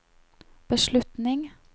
beslutning